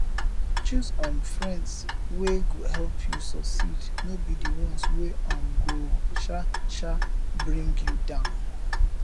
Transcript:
choose um friends wey go help you suceed no be di ones wey um go um um bring you down